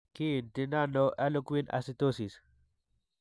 Kiinti nano harlequin ichthyosis?